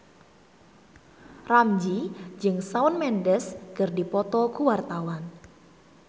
Ramzy jeung Shawn Mendes keur dipoto ku wartawan